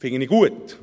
Das finde ich gut.